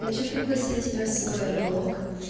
хочу пригласить тебя в свой р блок